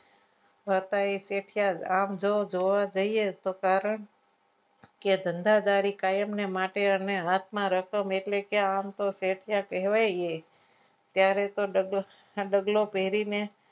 કાકાએ કહ્યું કે આમ જુઓ તો ધોવા જઈએ તો કારણ કે ધંધાદારી કાયમને માટે અને રતન એટલે કે આમ તો શેઠિયા કહેવાય ત્યારે તો દાદો ડગલો પહેરીને